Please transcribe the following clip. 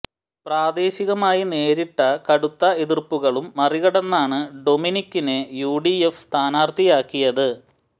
പ്രാദേശികമായി നേരിട്ട കടുത്ത എതിര്പ്പുകളും മറികടന്നാണ് ഡൊമിനിക്കിനെ യു ഡി എഫ് സ്ഥാനാര്ഥിയാക്കിയത്